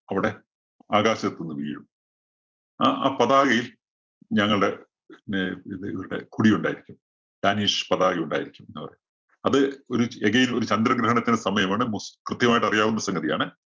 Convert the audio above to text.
ആകാശത്ത് നിന്ന് വീഴും. അ ആ പതാകയില്‍ ഞങ്ങളുടെ പിന്നെ ഇത് ഇവരുടെ കുടി ഉണ്ടായിരിക്കും. danish പതാക ഉണ്ടായിരിക്കും എന്നാ പറയുന്നേ. അത് ഒരു again ഒരു ചന്ദ്രന്‍ വീണ് നിക്കുന്ന സമയമാണ്. കൃത്യമായിട്ട് അറിയാവുന്ന സംഗതിയാണ്